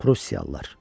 Prusiyalılar.